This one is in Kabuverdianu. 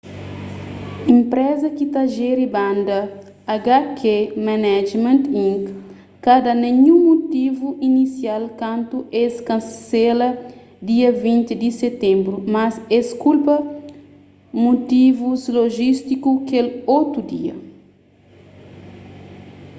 enpreza ki ta jeri banda hk management inc ka da ninhun mutivu inisial kantu es kansela dia 20 di sitenbru mas es kulpa mutivus lojístiku kel otu dia